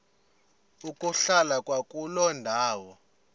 ukuhlala kwakuloo ndawo